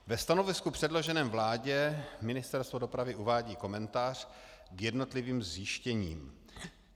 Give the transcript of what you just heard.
Ve stanovisku předloženém vládě Ministerstvo dopravy uvádí komentář k jednotlivým zjištěním.